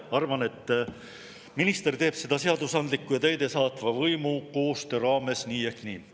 … arvan, et minister teeb seda seadusandliku ja täidesaatva võimu koostöö raames nii ehk nii.